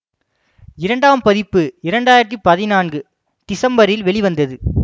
இரண்டாம் பதிப்பு இரண்டு ஆயிரத்தி பதினான்கு திசம்பரில் வெளிவந்தது